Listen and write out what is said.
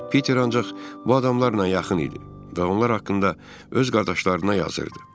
Piter ancaq bu adamlarla yaxın idi və onlar haqqında öz qardaşlarına yazırdı.